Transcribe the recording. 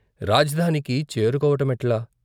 రాజధానికి చేరుకోవటమెట్లా?